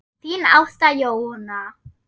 Þín Ásta Jóna.